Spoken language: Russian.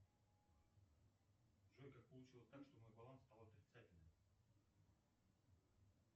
джой как получилось так что мой баланс стал отрицательным